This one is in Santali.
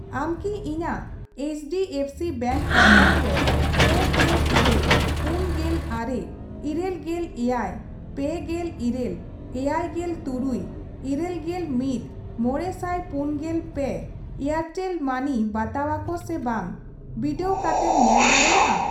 ᱟᱢ ᱠᱤ ᱤᱧᱟᱜ H D F C bank account ᱨᱮ ᱯᱮ ᱜᱮᱞ ᱤᱨᱟᱹᱞ, ᱯᱩᱱᱜᱮᱞ ᱟᱨᱮ, ᱤᱨᱟᱹᱞ ᱜᱮᱞ ᱮᱭᱟᱭ, ᱯᱮ ᱜᱮᱞ ᱤᱨᱟᱹᱞ, ᱮᱭᱟᱭ ᱜᱮᱞ ᱛᱩᱨᱩᱭ, ᱤᱨᱟᱹᱞ ᱜᱮᱞ ᱢᱤᱛ, ᱢᱚᱬᱮ ᱥᱟᱭ ᱯᱩᱱ ᱜᱮᱞ ᱯᱮ ᱮᱭᱟᱨᱴᱮᱞ ᱢᱟᱹᱱᱤ ᱵᱟᱛᱟᱣᱟ ᱠᱚ ᱥᱮ ᱵᱟᱝ ᱵᱤᱰᱟᱹᱣ ᱠᱟᱛᱮᱢ ᱧᱮᱞ ᱫᱟᱲᱮᱭᱟᱜᱼᱟ ?